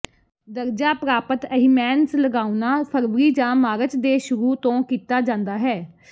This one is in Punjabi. ਦਰਜਾ ਪ੍ਰਾਪਤ ਅਹਿਮੈਨਸ ਲਗਾਉਣਾ ਫਰਵਰੀ ਜਾਂ ਮਾਰਚ ਦੇ ਸ਼ੁਰੂ ਤੋਂ ਕੀਤਾ ਜਾਂਦਾ ਹੈ